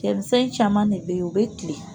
Cɛ ni fɛn caman de bɛ yen u bɛ kilen